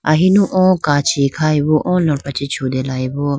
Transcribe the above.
ahinu oo kachi khayebo oo lopra chee chutelayeboo.